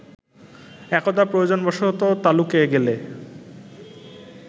একদা প্রয়োজনবশত তালুকে গেলে